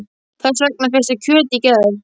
Þess vegna fékkstu kjöt í gær.